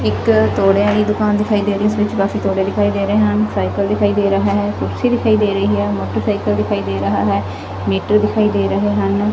ਇੱਕ ਤੋੜਿਆ ਦੀ ਦੁਕਾਨ ਦਿਖਾਈ ਦੇ ਰਹੀ ਇਸ ਵਿੱਚ ਕਾਫੀ ਤੋੜੇ ਦਿਖਾਈ ਦੇ ਰਹੇ ਹਨ ਸਾਈਕਲ ਦਿਖਾਈ ਦੇ ਰਹਾ ਹੈ ਕੁਰਸੀ ਦਿਖਾਈ ਦੇ ਰਹੀ ਹੈ ਮੋਟਰਸਾਈਕਲ ਦਿਖਾਈ ਦੇ ਰਹਾ ਹੈ ਮੀਟਰ ਦਿਖਾਈ ਦੇ ਰਹੇ ਹਨ।